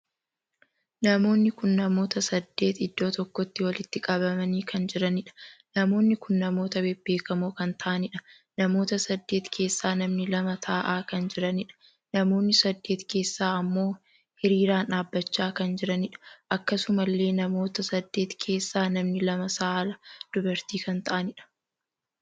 Namoonni kun namoota saddeet iddoo tokkotti walitti qabanii kan jiraniidha. namoonni kun namoota bebbeekamoo kan tahaniidha. namoota saddeet keessaa namni lama taa'aa kan jiraniidha. namoonni saddeet keessa ammoo hiriiranii dhaabbachaa kan jiraniidha. akkasumallee namoota saddeet keessaa namni lama saala dubartii kan taa'aniidha.